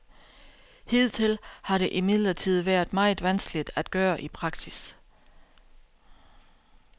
Hidtil har det imidlertid været meget vanskeligt at gøre i praksis.